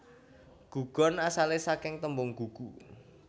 Gugon asale saking tembung gugu